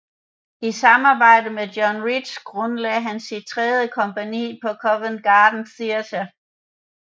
I samarbejde med John Rich grundlagde han sit tredje kompagni på Covent Garden Theatre